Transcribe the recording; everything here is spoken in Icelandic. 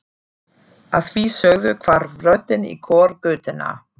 Að því sögðu hvarf röddin í kór götunnar.